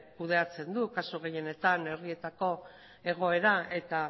kudeatzen du kasu gehienetan herrietako egoera eta